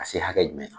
Ka se hakɛ jumɛn ma